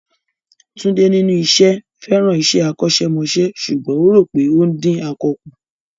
Tunde, nínú iṣẹ́, fẹ́ràn iṣẹ́ akọ́ṣẹ́mọṣẹ́ ṣùgbọ́n ó rò pé ó ń dín akọ kù.